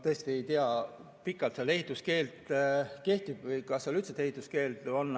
Ma tõesti ei tea, kui pikalt seal ehituskeeld kehtib või kas seal üldse ehituskeeld on.